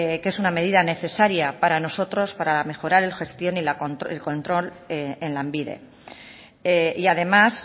que es una medida necesaria para nosotros para mejorar la gestión y el control en lanbide y además